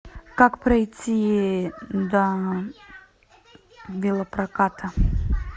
как пройти до велопроката